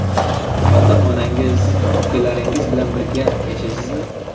Ota-onangiz, ukalaringiz bilan birga yashaysizmi?